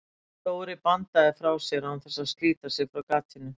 Dóri bandaði frá sér án þess að slíta sig frá gatinu.